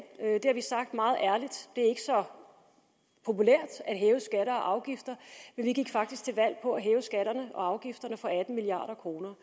det har vi sagt meget ærligt det er ikke så populært at hæve skatter og afgifter men vi gik faktisk til valg på at hæve skatterne og afgifterne for atten milliard kroner